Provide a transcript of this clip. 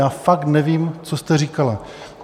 Já fakt nevím, co jste říkala.